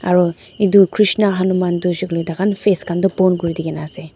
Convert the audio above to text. aro etu krishna hanuman tu kuishehoile tu taihan face khan tu bon kuri di na ase.